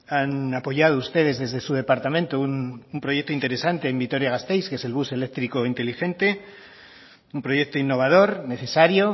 han apoyado ustedes desde su departamento un proyecto interesante en vitoria gasteiz que es el bus eléctrico inteligente un proyecto innovador necesario